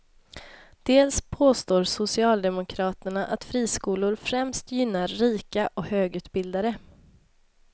Dels påstår socialdemokraterna att friskolor främst gynnar rika och högutbildade.